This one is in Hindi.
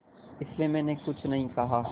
इसलिए मैंने कुछ नहीं कहा